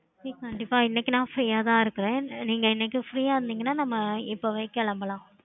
okay